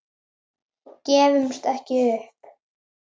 Mótið er því afar sterkt.